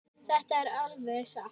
Þetta er alveg satt.